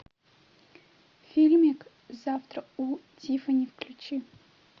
фильмик завтрак у тиффани включи